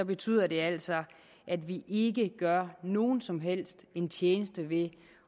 betyder det altså at vi ikke gør nogen som helst en tjeneste ved